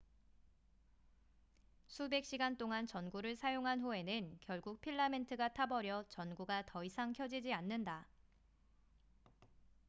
수백 시간 동안 전구를 사용한 후에는 결국 필라멘트가 타버려 전구가 더 이상 켜지지 않는다